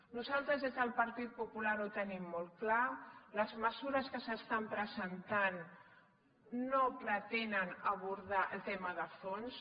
nosaltres des del partit popular ho tenim molt clar les mesures que s’estan presentant no pretenen abordar el tema de fons